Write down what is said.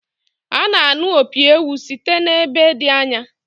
A na-anụ opi ewu site n’ebe dị anya